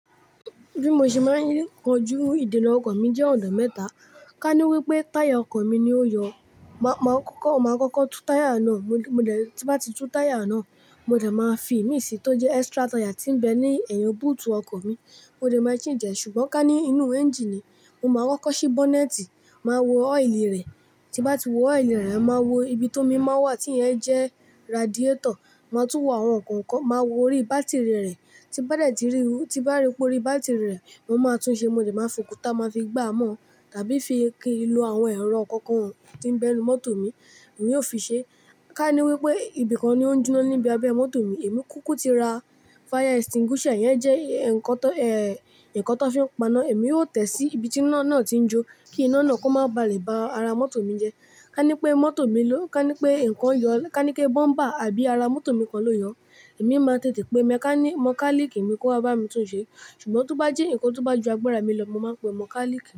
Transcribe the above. Bí mo ṣe máa ń kojú ìdènà ọkọ̀ mi jẹ́ ọ̀nà mẹ́ta. Ka ní wípé táyà ọkọ mi ni ó yọ. Màá, máa kọ́kọ́, máa kọ́kọ́ tú táyà náà. Mo, mo dẹ̀ tí bá ti tú táyà náà, mo dẹ̀ máa fi imí sì tó jẹ́ extra táyà tí ń bẹ ní ẹ̀yìn búùtù ọkọ̀ mi. Mo dẹ̀ máa ṣì jẹ̀ ṣùgbọ́n ká ní inú ẹ́ńjíìnì, mo máa kokọ́ sí bọ́nẹ́tì, màá wo ọ́ìlì rẹ̀. Tí bá ti wo ọ́ìlì rẹ̀, màá wo ibi tó mí máa ń wà tí ń yẹn jẹ́ radiétọ̀. Màá tún wo àwọn ǹkan kan. Màá wo orí bátìrì rẹ̀. Tí bá dẹ̀ ti rí, tí bá rí pé orí bátìrì rẹ̀ máa tún ṣe, mo dẹ̀ máa fòkuta, màá fi gbá á mọ́ tàbí fi ki ìlò àwọn ẹ̀rọ kọ̀ọ̀kan tí ń bẹ ní mọ́tò mi, èmi yóò fi ṣe. Ka ní wípé ibi kan ni ó ń jóná níbi abẹ mọ́tò mi, èmi kúkú ti ra fire extinguisher, ẹ̀yẹn jẹ́ ǹkan tó, ẹ́, ǹkan tó fi ń pa iná. Èmi ó tẹ̀ sí ibi tí iná náà tí ń jó kí iná náà kó má ba lè bá ara mọ́tò mi jẹ́. Ka ní pé mọ́tò mi ló, ka ní pé ǹkan yọ, ka ní pé bọ́ḿbà àbí ara mọ́tò mi kan ló yọ, èmi máa tètè pe mẹ́káníìkì, mọkálíìkì mi kó wá bá mi tún ṣe. Ṣùgbọ́n tó bá jẹ́ ǹkan tó bá ju agbára mi lọ, mo máa pe mọ́kálíìkì.